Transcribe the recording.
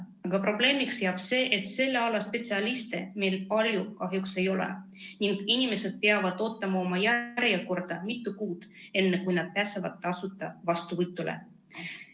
Aga probleemiks on see, et selle ala spetsialiste meil palju kahjuks ei ole ning inimesed peavad ootama oma järjekorda mitu kuud, enne kui pääsevad tasuta vastuvõtule.